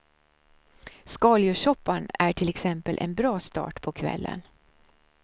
Skaldjurssoppan är till exempel en bra start på kvällen.